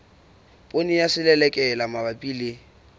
poone ya selelekela mabapi le